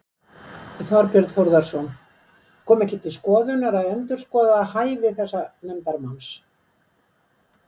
Þorbjörn Þórðarson: Kom ekki til skoðunar að endurskoða hæfi þessa nefndarmanns?